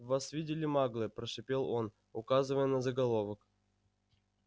вас видели маглы прошипел он указывая на заголовок